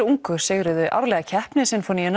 ungu sigruðu árlega keppni